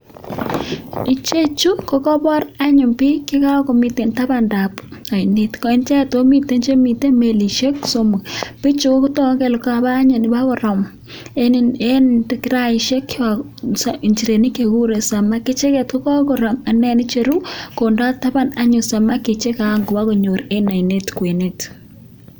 Ichechu anyun kokabar bik chikakomiten taban dab ainet icheket akomiten Chemiten melishek bichuton Kotaku Kole Kaba anyun Koba koram en kiraishek injirenik chekikuren samaki icheket kokakoram akocheru konda taban anyun samaki chekangwa konyor en ainet kwenet